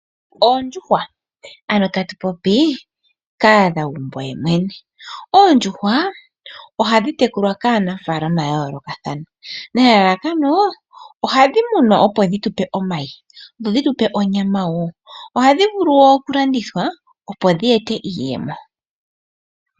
Oondjuhwa, ano tatu popi kahadhagumbo yemwene, oondjuhwa ohadhitekulwa kaanafalama ya yoolokathana nelalakano ohadhi munwa opo dhitupe omayi dho dhitupe onyama woo, ohadhi vulu okulandithwa opo dhi ete iiyemo.